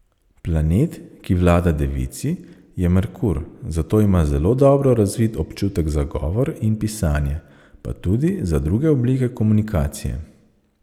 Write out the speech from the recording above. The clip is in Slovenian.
Planet, ki vlada devici, je Merkur, zato ima zelo dobro razvit občutek za govor in pisanje, pa tudi za druge oblike komunikacije.